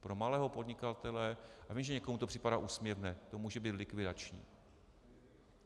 Pro malého podnikatele, já vím, že někomu to připadá úsměvné, to může být likvidační.